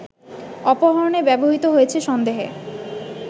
অপহরণে ব্যবহৃত হয়েছে সন্দেহে